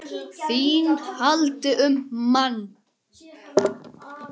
ÞÍN HALDI UM MANN!